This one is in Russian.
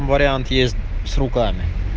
вариант есть с руками